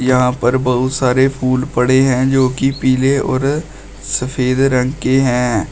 यहां पर बहुत सारे फूल पड़े हैं जोकि पीले और सफेद रंग के हैं।